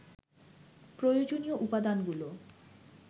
প্রয়োজনীয় উপদানাগুলো